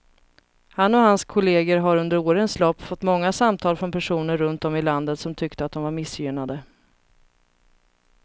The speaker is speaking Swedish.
Han och hans kolleger har under årens lopp fått många samtal från personer runt om i landet som tyckte att de var missgynnade.